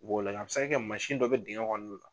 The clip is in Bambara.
U b'o lajɛ a bɛ se ka kɛ mansin dɔ bɛ digɛn kɔnɔn